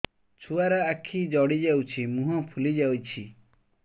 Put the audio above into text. ଛୁଆର ଆଖି ଜଡ଼ି ଯାଉଛି ମୁହଁ ଫୁଲି ଯାଇଛି